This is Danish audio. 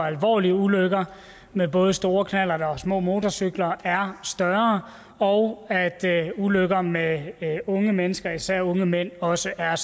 alvorlige ulykker med både store knallerter og små motorcykler er højere og at antallet af ulykker med unge mennesker især unge mænd også er